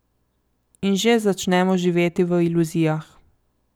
In že začnemo živeti v iluzijah.